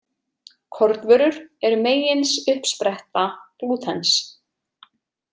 Kornvörur eru meginsuppspretta glútens.